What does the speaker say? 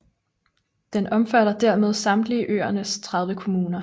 Den omfatter dermed samtlige øernes 30 kommuner